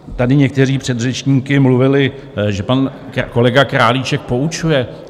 Tady někteří předřečníci mluvili, že pan kolega Králíček poučuje.